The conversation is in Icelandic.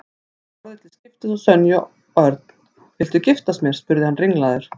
Hann horfði til skiptis á Sonju og Örn. Hvað viltu mér? spurði hann ringlaður.